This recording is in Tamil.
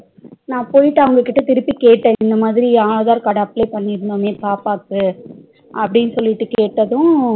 நா போயிட்டு அவங்க கிட்ட திருப்பி கேட்ட இன்னமாதிரி aadhar card apply பண்ணிருந்தோமே பாப்பாக்கு அப்டி சொல்லிட்டு கேட்டதும்